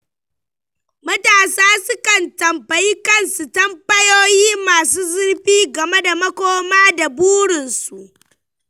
Matasa sukan tambayi kansu tambayoyi masu zurfi game da makoma da burinsu.